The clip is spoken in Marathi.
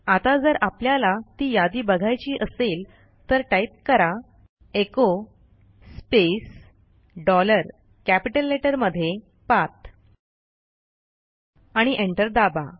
आता जर आपल्याला ती यादी बघायची असेल तर टाईप कराः एचो स्पेस डॉलर कॅपिटल लेटरमध्ये पाठ आणि एंटर दाबा